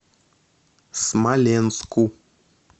смоленску